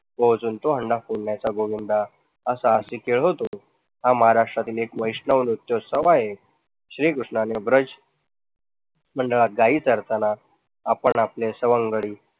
अजून तो हंडा फोडण्याचा गोविंदा हा साहसी खेळ होतो, हा महाराष्ट्रातील एक वैष्णव लोकोत्सव आहे. श्री कृष्णाने ब्रज मंडळात गायी चरतांना आपण आपले सवंगडी